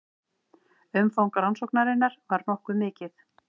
Umfang rannsóknarinnar var nokkuð mikið